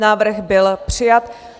Návrh byl přijat.